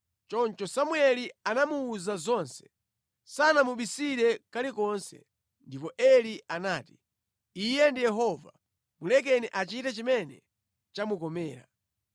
Choncho Samueli anamuwuza zonse, sanamubisire kalikonse. Ndipo Eli anati, “Iye ndi Yehova, mulekeni achite chimene chamukomera.”